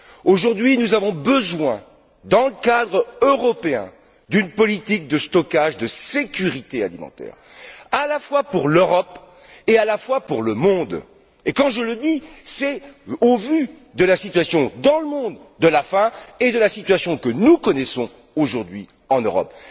Aujourd'hui, nous avons besoin, dans le cadre européen, d'une politique de stocks de sécurité alimentaire, à la fois pour l'Europe et pour le reste du monde. Et quand je le dis, c'est au vu de la situation de la faim dans le monde et de la situation que nous connaissons aujourd'hui en Europe.